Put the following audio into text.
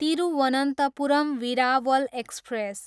Thiruvananthapuram, Veraval express